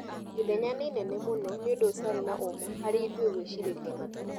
"Ithenya nĩ inene mũno.. ni ũndũ utarĩ na ũma harĩ ithuĩ gwĩ cirĩ ria Mathare. "